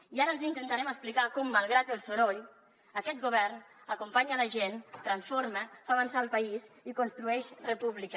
i ara els intentarem explicar com malgrat el soroll aquest govern acompanya la gent transforma fa avançar el país i construeix república